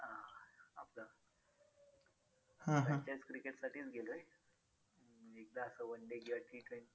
जास्तीजास्त cricket साठीच गेलोय. एकदा असं one day किंवा T twenty